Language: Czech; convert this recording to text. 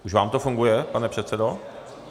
Už vám to funguje, pane předsedo?